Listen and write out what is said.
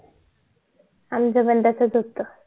आमचे पण तसेच होत